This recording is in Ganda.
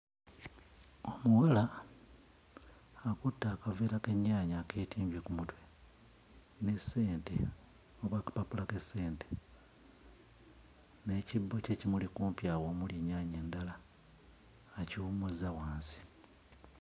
Omuwala akutte akaveera k'ennyaanya akeetimbye ku mutwe n'essente oba akapapula k'essente, n'ekibbo kye kimuli kumpi awo omuli ennyaanya ndala; akiwummuzza wansi.